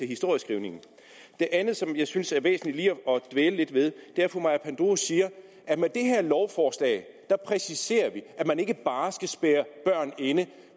historieskrivningen det andet som jeg synes er væsentligt lige at dvæle lidt ved er at fru maja panduro siger at med det her lovforslag præciserer vi at man ikke bare skal spærre børn inde